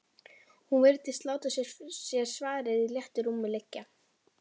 Hún virtist láta sér svarið í léttu rúmi liggja.